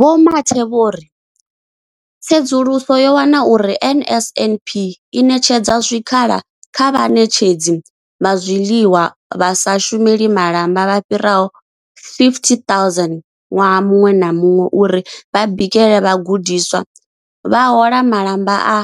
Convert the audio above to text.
Vho Mathe vho ri, Tsedzuluso yo wana uri NSNP i ṋetshedza zwikhala kha vhaṋetshedzi vha zwiḽiwa, vha sa shumeli malamba vha fhiraho 50 000 ṅwaha muṅwe na muṅwe uri vha bikele vhagudiswa, vha hola malamba a